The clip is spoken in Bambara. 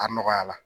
A nɔgɔyala